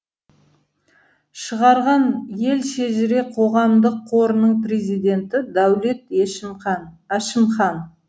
шығарған ел шежіре қоғамдық қорының президенті дәулет әшімхан